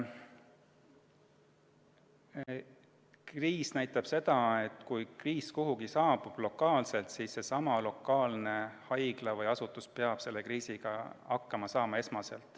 Kriisiaeg näitas seda, et kui kriis kuhugi lokaalselt saabub, siis seesama lokaalne haigla või asutus peab esmalt ise selle kriisiga hakkama saama.